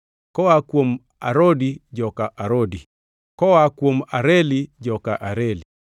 koa kuom Arodi, joka Arodi; koa kuom Areli, joka Areli.